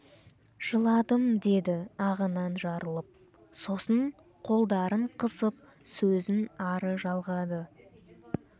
жыладым деді ағынан жарылып сосын қолдарын қысып сөзін ары жалғады